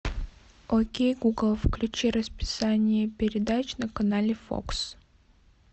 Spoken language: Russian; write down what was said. окей гугл включи расписание передач на канале фокс